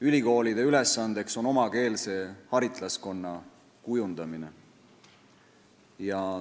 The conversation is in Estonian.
Ülikoolide ülesanne on omakeelse haritlaskonna kujundamine.